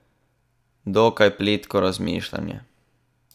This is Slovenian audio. Dokaj plitko razmišljanje.